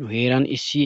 Nu heeran issi